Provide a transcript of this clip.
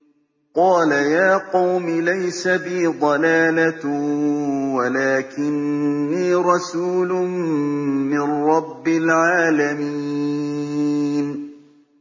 قَالَ يَا قَوْمِ لَيْسَ بِي ضَلَالَةٌ وَلَٰكِنِّي رَسُولٌ مِّن رَّبِّ الْعَالَمِينَ